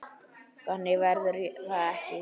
Þannig verður það ekki.